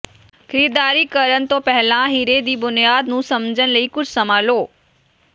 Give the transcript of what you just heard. ਖਰੀਦਦਾਰੀ ਕਰਨ ਤੋਂ ਪਹਿਲਾਂ ਹੀਰੇ ਦੀ ਬੁਨਿਆਦ ਨੂੰ ਸਮਝਣ ਲਈ ਕੁਝ ਸਮਾਂ ਲਓ